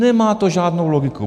Nemá to žádnou logiku.